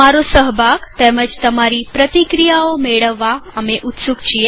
તમારો સહભાગ તેમજ તમારી પ્રતિક્રિયાઓ મેળવવા અમે ઉત્સુક છીએ